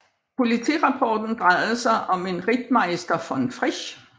Politirapporten drejede sig om en Rittmeister von Frisch